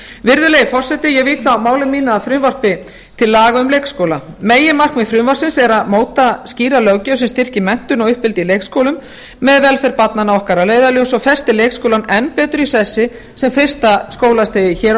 virðulegi forseti ég vík þá máli mínu að frumvarpi til laga um leikskóla meginmarkmið frumvarpsins er að móta skýra löggjöf sem styrkir menntun og uppeldi í leikskólum með velferð barnanna okkar að leiðarljósi og festir leikskólann enn betur í sessi sem fyrsta skólastigið hér á